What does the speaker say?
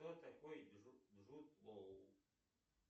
кто такой джуд лоу